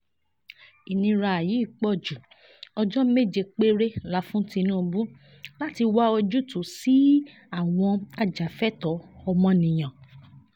ìnira yìí pọ̀ ju ọjọ́ méje péré la fún tinubu láti wá ojútùú sí i àwọn ajàfẹ́tọ̀ọ́ ọmọnìyàn